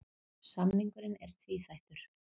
Samningurinn er tvíþættur